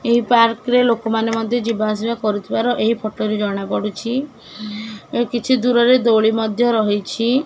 ଏହି ପାର୍କ ରେ ଲୋକମାନେ ମଧ୍ଯ ଯିବା ଆସିବା କରୁଥିବାର ଏହି ଫଟୋ ରେ ଜଣା ପଡୁଛି ଏ କିଛି ଦୂରରେ ଦୋଳି ମଧ୍ୟ ରହିଛି।